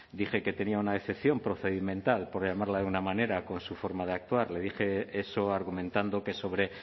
dije que tenía una decepción procedimental por llamarla de una manera con su forma de actuar le dije eso argumentando que sobre